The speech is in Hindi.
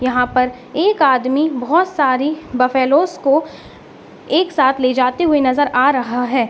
यहाँ पर एक आदमी बहुत सारे बफैलोस को एक साथ ले जाते हुए नज़र आ रहा है।